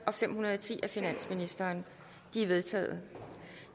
og fem hundrede og ti af finansministeren de er vedtaget